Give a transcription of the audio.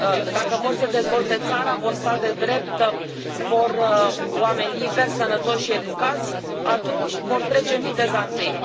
Dacă vor să dezvolte țara, vor stat de drept, vor oameni liberi, sănătoși și educați, atunci vor trece în viteza întâi.